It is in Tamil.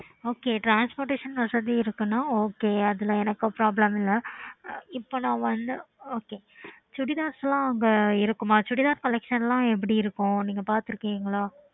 okay